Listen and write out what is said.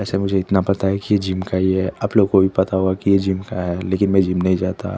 बस मुझे इतना पता है की ये जिम का ही है आप लोग को भी पता होगा की ये जिम का है लेकिन में जिम नहीं जाता।